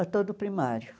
Ah todo o primário.